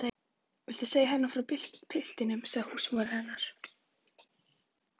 Segja henni frá piltinum? hváði húsmóðir hennar.